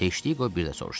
Teştiqo bir də soruşdu.